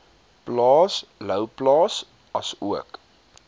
plaas louwplaas asook